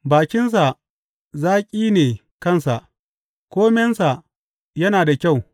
Bakinsa zaƙi ne kansa; komensa yana da kyau.